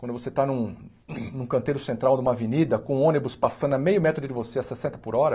Quando você está num num canteiro central numa avenida, com um ônibus passando a meio metro de você a sessenta por hora,